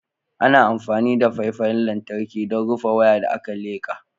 Ana amfani da faifan lantarki don rufe waya da aka leka.